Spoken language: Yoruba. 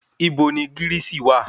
Ibo ni gírìsì wà?